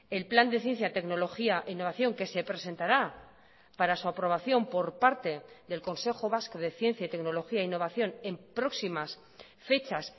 el plan de ciencia tecnología e innovación que se presentará para su aprobación por parte del consejo vasco de ciencia y tecnología e innovación en próximas fechas